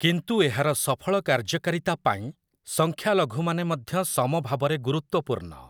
କିନ୍ତୁ ଏହାର ସଫଳ କାର୍ଯ୍ୟକାରିତା ପାଇଁ ସଂଖ୍ୟାଲଘୁମାନେ ମଧ୍ୟ ସମଭାବରେ ଗୁରୁତ୍ଵପୂର୍ଣ୍ଣ ।